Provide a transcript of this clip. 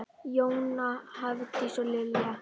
Jóna, Hafdís og Lilja.